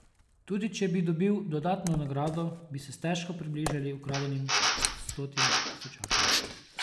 Tudi če bi dobil dodatno nagrado, bi se stežka približali ukradenim stotim tisočakom.